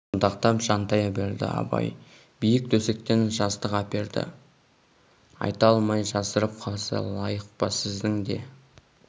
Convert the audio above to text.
шынтақтап жантая берді абай биік төсектен жастық әперді айта алмай жасырып қалса лайық па сіздің де